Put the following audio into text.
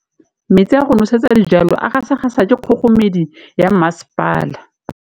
Metsi a go nosetsa dijalo a gasa gasa ke kgogomedi ya masepala.